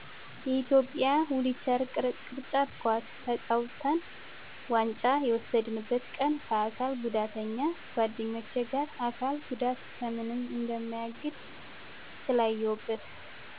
የኢትዮጵያ ዊልቸር ቅርጫት ኳስ ተጫውተን ዋንጫ የወሰድነበትን ቀን ከአካል ጉዳተኛ ጓደኞቸ ጋር አካል ጉዳት ከምንም እንደማያግድ ስላየሁበት